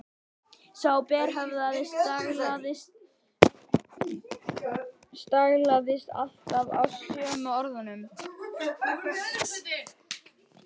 Sá berhöfðaði staglaðist alltaf á sömu orðunum